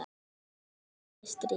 Stefán, það er stríð.